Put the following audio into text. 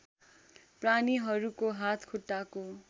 प्राणीहरूको हात खुट्टाको